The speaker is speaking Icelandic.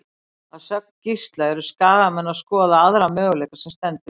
Að sögn Gísla eru Skagamenn að skoða aðra möguleika sem stendur.